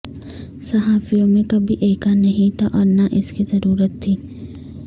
صحافیوں میں کبھی ایکا نہیں تھا اور نہ اس کی ضرورت تھی